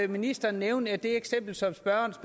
ministeren nævne det eksempel som spørgeren